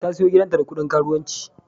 Ta siyo gidanta da kudin karuwanci.